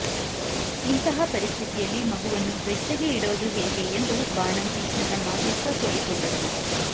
ಇಂತಹ ಪರಿಸ್ಥಿತಿಯಲ್ಲಿ ಮಗುವನ್ನು ಬೆಚ್ಚಗೆ ಇಡೋದು ಹೇಗೆ ಎಂದು ಬಾಣಂತಿ ಚನ್ನಮ್ಮ ದುಃಖ ತೋಡಿಕೊಂಡರು